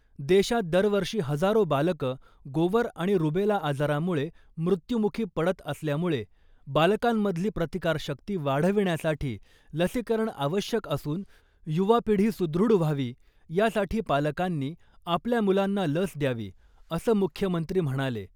देशात दरवर्षी हजारो बालकं , गोवर आणि रुबेला आजारामुळे मुत्यूमुखी पडत असल्यामुळे , बालकांमधली प्रतिकार शक्ती वाढविण्यासाठी लसीकरण आवश्यक असून युवा पिढी सुदृढ व्हावी यासाठी पालकांनी आपल्या मुलांना लस द्यावी , असं मुख्यमंत्री म्हणाले .